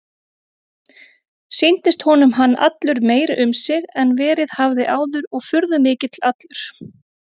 Sýndist honum hann allur meiri um sig en verið hafði áður og furðumikill allur.